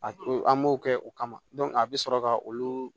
A to an m'o kɛ o kama a bɛ sɔrɔ ka olu